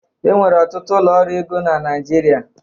Enwere ọtụtụ ụlọ ọrụ ego na Naịjirịa